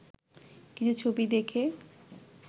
কিছু ছবি দেখে